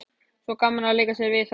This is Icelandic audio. Svo gaman að leika sér við það.